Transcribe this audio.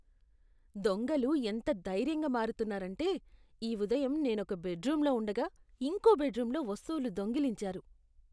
దొంగలు ఎంత ధైర్యంగా మారుతున్నారంటే, ఈ ఉదయం నేనొక బెడ్రూమ్లో ఉండగా ఇంకో బెడ్రూమ్లో వస్తువులు దొంగిలించారు.